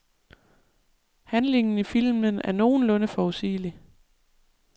Handlingen i filmen er nogenlunde forudsigelig.